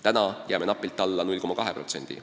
Praegu on näitaja napilt alla 0,2%.